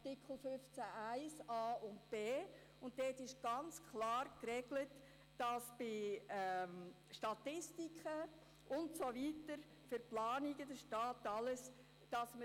In Artikel 15 Absatz 1a und b ist ganz klar geregelt, dass der Staat dies alles für Statistiken und Planungen alles könnte.